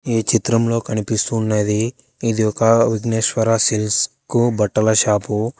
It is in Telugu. ఈ చిత్రంలో కనిపిస్తున్నది ఇది ఒక విజ్ఞేశ్వర సిల్క్ బట్టల షాపు.